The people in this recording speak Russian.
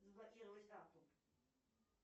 заблокировать карту